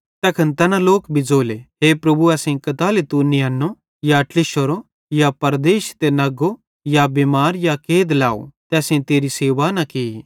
तैखन तैना लोक भी ज़ोले हे प्रभु असेईं कताली तू नियन्नो या ते ट्लिशोरो या परदेशी ते नग्गो या बिमार या कैद लाव ते असेईं तेरी सेवा न की